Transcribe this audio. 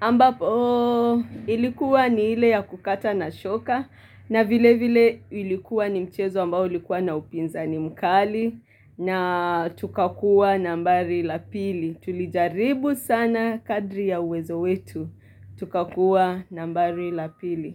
ambapo ilikuwa ni ile ya kukata na shoka, na vile vile ilikuwa ni mchezo ambao ilikuwa na upinzani mkali, na tukakuwa nambari lapili, tulijaribu sana kadri ya wezo wetu, tukakuwa nambari lapili.